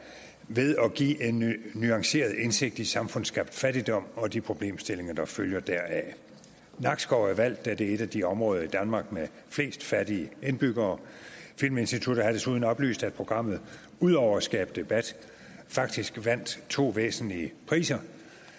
ved at give en nuanceret indsigt i samfundsskabt fattigdom og de problemstillinger der følger deraf nakskov er valgt da det er et af de områder i danmark med flest fattige indbyggere filminstituttet har desuden oplyst at programmet udover at skabe debat faktisk vandt to væsentlige priser